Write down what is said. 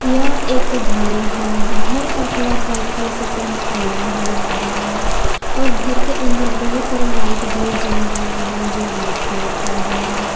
यह एक घर है घर का कलर वाइट कलर से पेंट किया हुआ है और घर के अंदर बहुत सारा लाइट भी जल रहा है जो वाइट कलर का है।